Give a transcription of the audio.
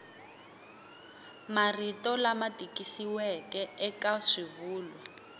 marito lama tikisiweke eka swivulwa